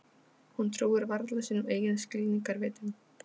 Hún trúir varla sínum eigin skilningarvitum.